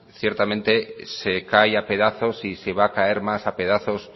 ciertamente se cae a pedazos y se va a caer más a pedazos